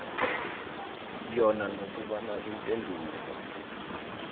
yona nokobana iimpendulo